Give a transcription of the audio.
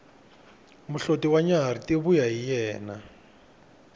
muhloti wa tinyarhi ti vuya hi yena